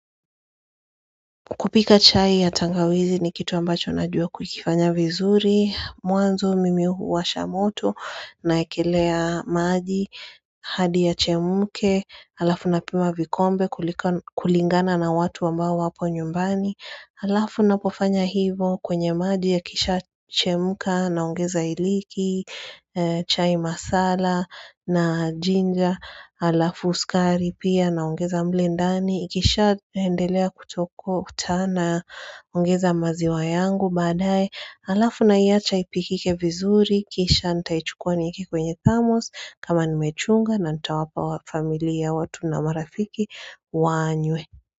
Kupika chai ya tangawizi ni kitu ambacho na juo kukifanya vizuri, muanzo mimiuhu wa shamoto na ekilea maji, hadi ya chemuke, alafu na pima vikombe kulingana na watu wamba wapo nyumbani. Alafu na pofanya hivo kwenye maji ya kisha chemka naongeza iliki, chai masala na jinja, alafu sukari pia naongeza mlendani. Ikisha endelea kutokotana ongeza maziwa yangu baadae. Alafu naiacha ipikike vizuri, kisha nitaichukua nieke kwenye thamos kama nimechunga na nita wapa familia watu na marafiki wanywe.